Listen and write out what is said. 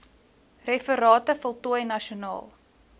referate voltooi nasionaal